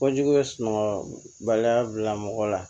Ko jugu ye sunɔgɔ baliya bila mɔgɔ la